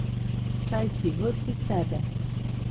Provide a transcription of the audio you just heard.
Saj si ves iz sebe!